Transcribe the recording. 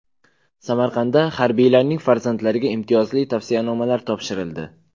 Samarqandda harbiylarning farzandlariga imtiyozli tavsiyanomalar topshirildi.